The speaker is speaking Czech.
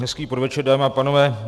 Hezký podvečer, dámy a pánové.